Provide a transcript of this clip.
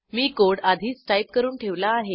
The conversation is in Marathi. मी कोड आधीच टाईप करून ठेवला आहे